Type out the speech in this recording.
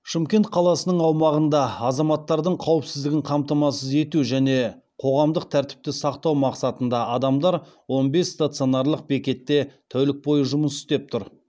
шымкент қаласының аумағында азаматтардың қауіпсіздігін қамтамасыз ету және қоғамдық тәртіпті сақтау мақсатында адамдар он бес стационарлық бекетте тәулік бойы жұмыс істеп тұр